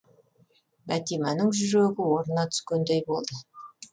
бәтиманың жүрегі орнына түскендей болды